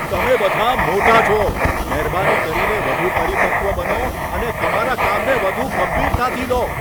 તમે બધા મોટા છો! મહેરબાની કરીને વધુ પરિપક્વ બનો અને તમારા કામને વધુ ગંભીરતાથી લો.